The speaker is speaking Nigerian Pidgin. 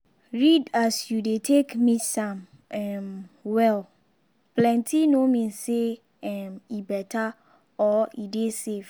read as you go take mix am um well —plenty no mean say um e better or e dey safe.